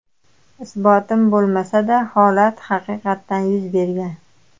Isbotim bo‘lmasa-da, holat haqiqatan yuz bergan.